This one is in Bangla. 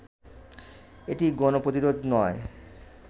এটি গণ প্রতিরোধ নয়